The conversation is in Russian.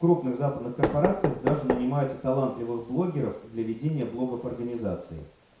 крупных западных корпорациях даже нанимают талантливых блогеров для ведения блогов организации